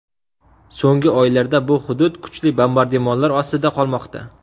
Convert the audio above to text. So‘nggi oylarda bu hudud kuchli bombardimonlar ostida qolmoqda.